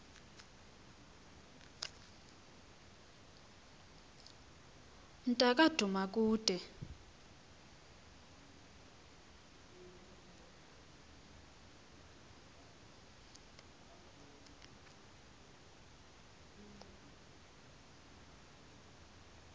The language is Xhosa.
mnta ka dumakude